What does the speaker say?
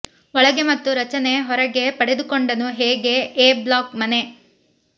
ಒಳಗೆ ಮತ್ತು ರಚನೆ ಹೊರಗೆ ಪಡೆದುಕೊಂಡನು ಹೇಗೆ ಎ ಬ್ಲಾಕ್ ಮನೆ